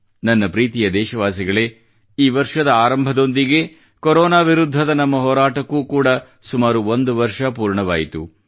ನನ್ನ ಪ್ರೀತಿಯ ದೇಶವಾಸಿಗಳೇ ಈ ವರ್ಷದ ಆರಂಭದೊಂದಿಗೇ ಕೊರೋನಾ ವಿರುದ್ಧದ ನಮ್ಮ ಹೋರಾಟಕ್ಕೆ ಕೂಡಾ ಸುಮಾರು ಒಂದು ವರ್ಷ ಪೂರ್ಣವಾಯಿತು